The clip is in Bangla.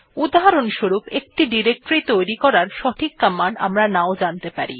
উদাহরণস্বরূপ একটি ডিরেক্টরী তৈরি করার সঠিক কমান্ড আমরা নাও জানতে পারি